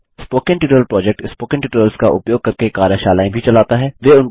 spoken tutorial project spoken tutorials का उपयोग करके कार्यशालाएँ भी चलाता है